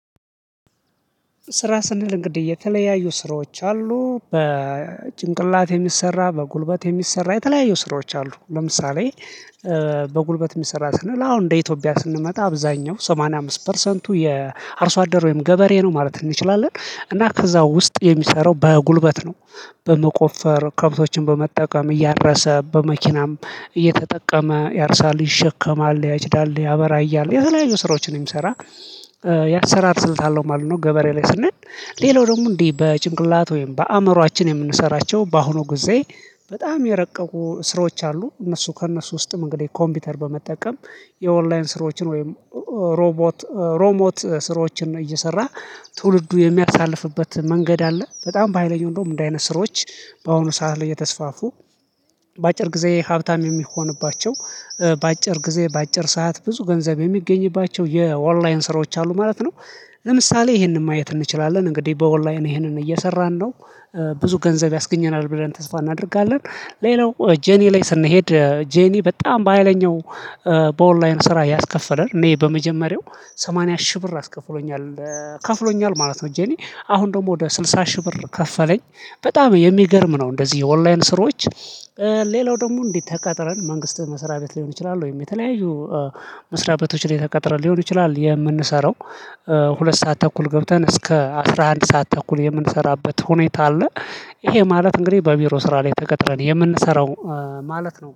ስራ ስንል እንግዲህ የተለያዩ ስራዎች አሉ በጭንቅላት የሚሰራ በጉልበት የሚሰራ የተለያየ ስራዎች አሉ ለምሳሌ በጉልበት የሚሰራ ስንል አሁን እንደ ኢትዮጵያ ስንመጣ አብዛኛው ሰማንያ አምስት ፐርሰንቱ የአርሶ አደር ወይም ገበሬ ነው ማለት እንችላለን እና ከዛ ውስጥ የሚሰራው በጉልበት ነው። በመቆፈር ከብቶችን በመጠቀም እያረሰ በመኪናም እየተጠቀመ ያርሳል ይሸከማል ያጭዳል ያበራያል የተለያዩ ስራዎችን ነው የምሰራ። የአሰራር ስልት አለው ማለት ነው። ገበሬ ላይ ስንል ሌላው ደግሞ እንዲህ በጭንቅላት ወይም በአእምሮአችን የምንሰራቸው በአሁኑ ጊዜ በጣም የረቀቁ ስራዎች አሉ። እነሱ ከእነሱ ውስጥም እንግዲህ ኮምፒውተር በመጠቀም የኦንላይን ስራዎችን ወይም ሮቦት ሮሞት ስራዎችን እየሰራ ትውልዱ የሚያሳልፍበት መንገድ አለ። በጣም በሃይለኞች እንደውም እንደዚህ አይነት ስራወችች በአሁኑ ሰዓት ላይ የተስፋፉ። በአጭር ጊዜ ሀብታም የሚሆንባቸው በአጭር ጊዜ በአጭር ሰዓት ብዙ ገንዘብ የሚገኝባቸው የኦንላይን ስራዎች አሉ ማለት ነው። ለምሳሌ ይሄንን ማየት እንችላለን እንግዲህ በወል ላይ እኔ ይሄንን እየሰራን ነው ብዙ ገንዘብ ያስገኘናል ብለን ተስፋ እናደርጋለን። ሌላው ጄኒ ላይ ስንሄድ ጄኒ በጣም በሃይለኛው በኦንላይን ስራ ያስከፈረን እኔ በመጀመሪያው ሰማንያ ሺህ ብር አስከፍሎኛል ከፍሎኛል ማለት ነው። ጄኒ አሁን ደግሞ ወደ ስልሳ ሺህ ብር ከፈለኝ በጣም የሚገርም ነው። እንደዚህ የኦንላይን ስሮች ሌላው ደግሞ እንዲተቀጥረን መንግስት መስሪያ ቤት ሊሆን ይችላል። ወይም የተለያዩ መስሪያ ቤቶች ላይ ተቀጥረን ሊሆን ይችላል። የምንሰራው ሁለት ሰዓት ተኩል ገብተን እስከ አስራ አንድ ሰዓት ተኩል የምንሰራበት ሁኔታ አለ። ይሄ ማለት እንግዲህ በቢሮ ስራ ላይ ተቀጥረን የምንሰራው ማለት ነው